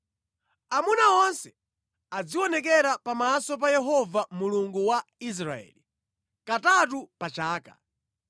Amuna onse azionekera pamaso pa Yehova Mulungu wa Israeli, katatu pa chaka.